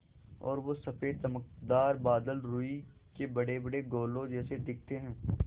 और वो सफ़ेद चमकदार बादल रूई के बड़ेबड़े गोलों जैसे दिखते हैं